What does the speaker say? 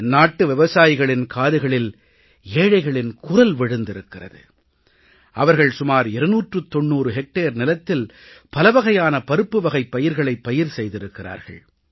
என்நாட்டு விவசாயிகளின் காதுகளில் ஏழைகளின் குரல் விழுந்திருக்கிறது அவர்கள் சுமார் இருநூற்று தொண்ணூறு ஹெக்டேர் நிலத்தில் பலவகையான பருப்புவகைப் பயிர்களைப் பயிர் செய்திருக்கிறார்கள்